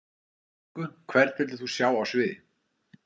Engu Hvern vildir þú sjá á sviði?